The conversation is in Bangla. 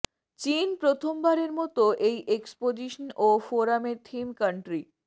চীন প্রথমবারের মতো এই এক্সপজিশন ও ফোরামে থিম কান্ট্রি